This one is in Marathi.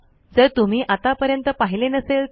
जर तुम्ही आतापर्यंत पहिले नसेल तर